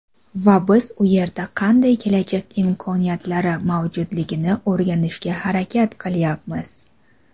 Va biz u yerda qanday kelajak imkoniyatlari mavjudligini o‘rganishga harakat qilyapmiz.